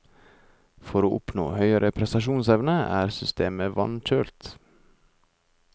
For å oppnå høyere prestasjonsevne er systemet vannkjølt.